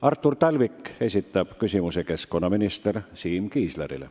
Artur Talvik esitab küsimuse keskkonnaminister Siim Kiislerile.